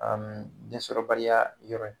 densɔrɔbaliya yɔrɔ ye.